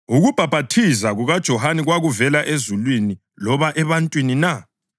ukubhaphathiza kukaJohane kwakuvela ezulwini loba ebantwini na?”